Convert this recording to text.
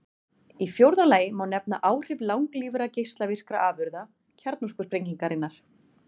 Í fjórða lagi má nefna áhrif langlífra geislavirkra afurða kjarnorkusprengingarinnar.